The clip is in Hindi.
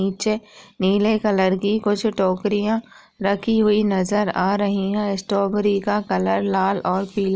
नीचे नीले कलर की कुछ टोकरियाँ रखी हुई नजर आ रही हैं। स्ट्रॉबेरी का कलर लाल और पीला --